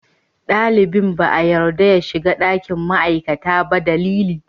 Dalibin ba a yarda ya shiga ɗakin ma'aikata ba dalili.